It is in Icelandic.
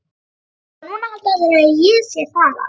Og núna halda allir að ég sé þaðan.